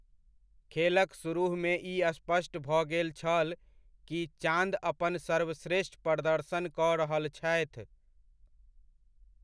खेलक सुरुहमे ई स्पष्ट भऽ गेल छल कि चाँद अपन सर्वश्रेष्ठ प्रदर्शन कऽ रहल छथि।